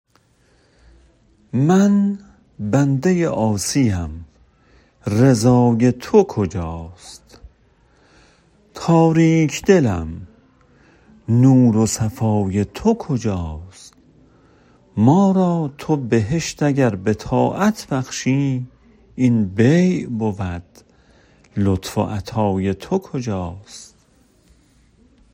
من بنده عاصی ام رضای تو کجاست تاریک دلم نور و صفای تو کجاست ما را تو بهشت اگر به طاعت بخشی این بیع بود لطف و عطای تو کجاست